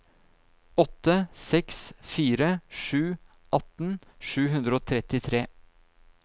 åtte seks fire sju atten sju hundre og trettitre